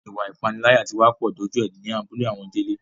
Ìwà ìpániláyà tí wá pọ̀ dójú ẹ ní abúlé àwọn Délé